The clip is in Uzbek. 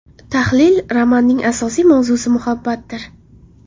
Tahlil Romanning asosiy mavzusi muhabbatdir.